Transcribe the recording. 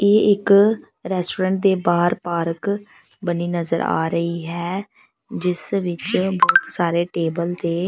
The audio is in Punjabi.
ਇਹ ਇੱਕ ਰੈਸਟੋਰੈਂਟ ਦੇ ਬਾਹਰ ਪਾਰਕ ਬਣੀ ਨਜ਼ਰ ਆ ਰਹੀ ਹੈ ਜਿਸ ਵਿੱਚ ਬਹੁਤ ਸਾਰੇ ਟੇਬਲ ਤੇ--